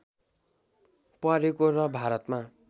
परेको र भारतमा